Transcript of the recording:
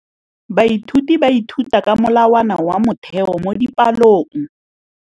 Baithuti ba ithuta ka molawana wa motheo mo dipalong.